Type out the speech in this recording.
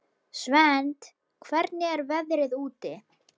Svend, hvernig er veðrið úti?